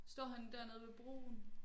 Står han dernede ved broen?